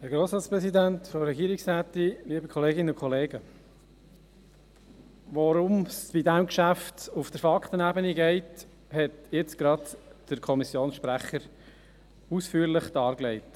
Worum es bei diesem Geschäft auf der Faktenebene geht, hat jetzt gerade der Kommissionssprecher ausführlich dargelegt.